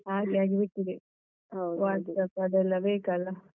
ಹಾಗೆ ಆಗ್ಬಿಟ್ಟಿದೆ. ಅದೆಲ್ಲ ಬೇಕಲ್ಲ.